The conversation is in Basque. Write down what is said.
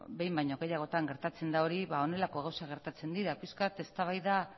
behin baino gehiagotan gertatzen da hori ba honelako gauzak gertatzen dira pixka bat eztabaida